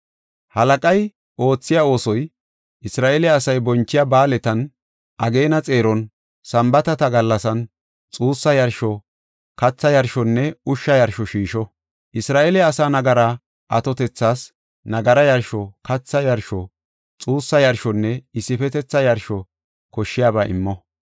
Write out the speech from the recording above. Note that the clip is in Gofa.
Halaqay oothiya oosoy, Isra7eele asay bonchiya ba7aaletan, ageena xeeron Sambaatata gallasan, xuussa yarsho, katha yarshonne ushsha yarsho shiisho. Isra7eele asaa nagara atotethas nagara yarsho, katha yarsho, xuussa yarshonne issifetetha yarsho koshshiyaba immo.